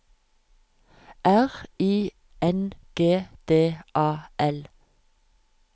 R I N G D A L